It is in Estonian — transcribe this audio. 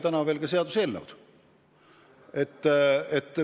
Tegelikult ju seaduseelnõu tõesti ei ole.